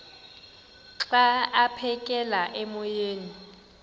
xa aphekela emoyeni